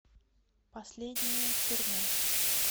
последнее турне